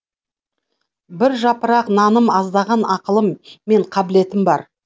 бір жапырақ наным аздаған ақылым мен қабілетім бар